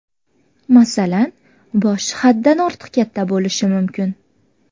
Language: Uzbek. Masalan, boshi haddan ortiq katta bo‘lishi mumkin.